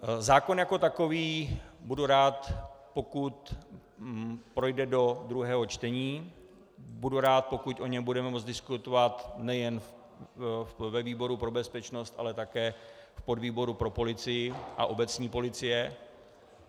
Zákon jako takový, budu rád, pokud projde do druhého čtení, budu rád, pokud o něm budeme moci diskutovat nejen ve výboru pro bezpečnost, ale také v podvýboru pro policii a obecní policii.